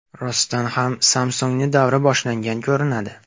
Rostdan ham Samsung‘ni davri boshlangan ko‘rinadi.